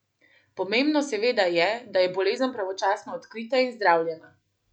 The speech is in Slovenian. Pomembno seveda je, da je bolezen pravočasno odkrita in zdravljena!